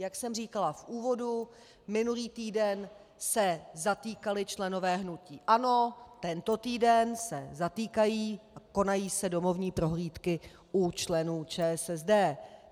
Jak jsem říkala v úvodu, minulý týden se zatýkali členové hnutí ANO, tento týden se zatýkají a konají se domovní prohlídky u členů ČSSD.